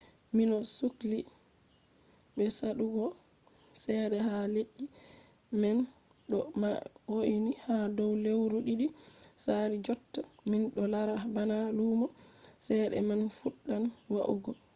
minɗo sukli be saɗugo cede ha leddi man ɗo ma hoini ha dow lewru ɗiɗi sali jotta minɗo lara bana lumo cede man fuɗɗan wa’ugo